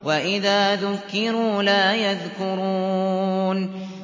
وَإِذَا ذُكِّرُوا لَا يَذْكُرُونَ